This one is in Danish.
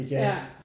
Ja